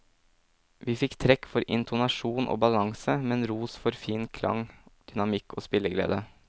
Vi fikk trekk for intonasjon og ballanse, men ros for fin klang, dynamikk og spilleglede.